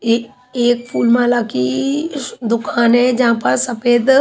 एक एक फूल माला की दुकान है जहां पास सफेद--